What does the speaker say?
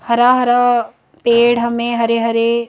हरा हरा पेड़ हमें हरे हरे--